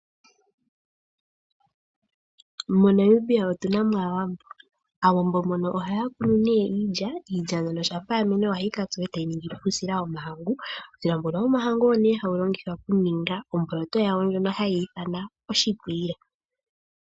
MoNamibia otuna mo aawambo. Owambo mbono ohaya kunu nee iilya, iilya mbyono shampa ya mene ohayi ka tsuwa, eta yi ningi po uusila wo mahangu. Uusila mbono wo mahangu owo nee haulongithwa oku ninga omboloto yawo ndjoka hayi ithanwa oshiikwiila.